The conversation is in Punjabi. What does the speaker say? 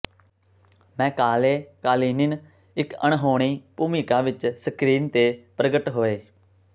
ਮੈਕਾਲੇ ਕਾਲੀਨਿਨ ਇੱਕ ਅਣਹੋਣੀ ਭੂਮਿਕਾ ਵਿੱਚ ਸਕ੍ਰੀਨ ਤੇ ਪ੍ਰਗਟ ਹੋਏ